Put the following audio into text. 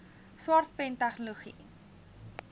smart pen tegnologie